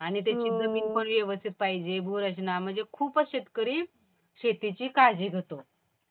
आणि त्याची जमीन पण व्यवस्थित पाहिजे भूरचना. म्हणजे खूपच शेतकरी शेतीची काळजी घेतो.